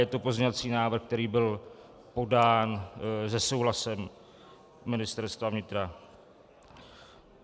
Je to pozměňovací návrh, který byl podán se souhlasem Ministerstva vnitra.